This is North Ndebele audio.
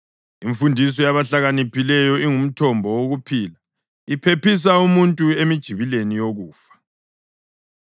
Imfundiso yabahlakaniphileyo ingumthombo wokuphila, iphephisa umuntu emijibileni yokufa.